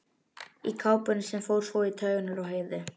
Í kápunni sem fór svo í taugarnar á Heiðu.